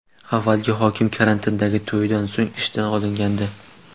Avvalgi hokim karantindagi to‘ydan so‘ng ishdan olingandi.